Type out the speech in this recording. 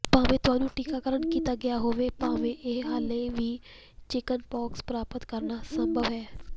ਭਾਵੇਂ ਤੁਹਾਨੂੰ ਟੀਕਾਕਰਣ ਕੀਤਾ ਗਿਆ ਹੋਵੇ ਭਾਵੇਂ ਇਹ ਹਾਲੇ ਵੀ ਚਿਕਨਪੌਕਸ ਪ੍ਰਾਪਤ ਕਰਨਾ ਸੰਭਵ ਹੈ